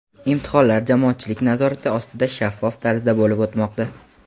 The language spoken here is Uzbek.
Imtihonlar jamoatchilik nazorati ostida shaffof tarzda bo‘lib o‘tmoqda.